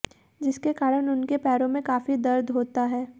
जिसके कारण उनके पैरों में काफी दर्द होता है